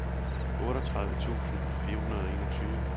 otteogtredive tusind fire hundrede og enogtyve